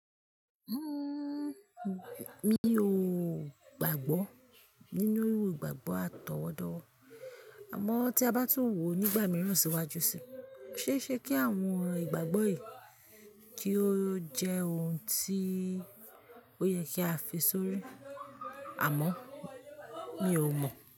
Uhm, mi ò gbàgbọ́ nínú ìgbàgbọ́ àtọwọ́dọ́wọ́. Àmọ́ tí a bá tún wò nígbà mìíràn síwájú sí i, kó ṣeé ṣe kí àwọn ìgbàgbọ́ yìí kí ó jẹ́ ohun tí ó yẹ kí a fi sórí? Àmọ́ mi ò mọ̀